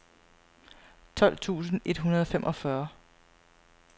tolv tusind et hundrede og femogfyrre